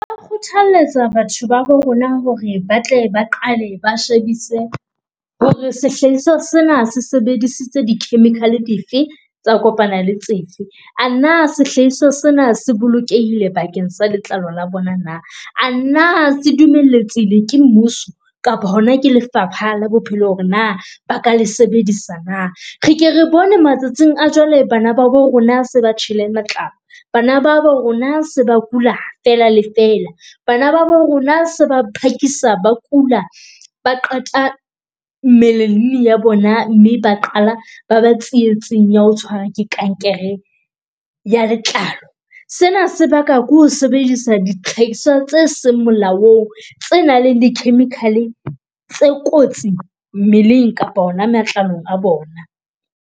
Ba kgothaletsa batho ba rona hore ba tle ba qale ba shebise hore sehlahiswa sena se sebedisitse di-chemical dife tsa kopana le tsefe. A na sehlahiswa sena se bolokehile bakeng sa letlalo la bona na, a na se dumeletsehile ke mmuso kapa hona ke lefapha la bophelo hore na ba ka le sebedisa na. Re ke re bone matsatsing a jwale bana ba bo rona se ba tjhele matlalo. Bana ba ba rona se ba kula, fela fela bana ba bo rona sa phakisa ba kula, ba qeta mmeleng ya bona mme ba qala ba ba tsietseng ya ho tshwarwa ke kankere ya letlalo. Sena sebakwa ke ho sebedisa dihlahiswa tse seng molaong, tse nang le di-chemical tse kotsi mmeleng kapa ona matlalong a bona.